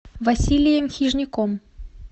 василием хижняком